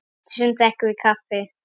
Eftir sund drekkum við kaffi.